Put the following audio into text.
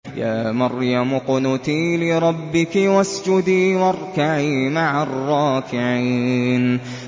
يَا مَرْيَمُ اقْنُتِي لِرَبِّكِ وَاسْجُدِي وَارْكَعِي مَعَ الرَّاكِعِينَ